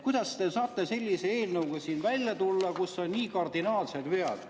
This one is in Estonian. Kuidas te saate sellise eelnõuga välja tulla, kus on nii kardinaalsed vead?